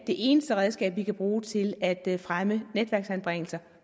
det eneste redskab vi kan bruge til at fremme netværksanbringelser